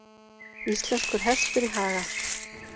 Íslenskur hestur í haga.